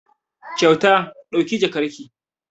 Kyauta ɗauki jakarki!